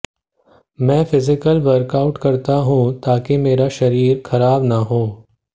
मैं physical workout करता हूं ताकि मेरा शरीर खराब न हो